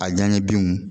A ɲani binw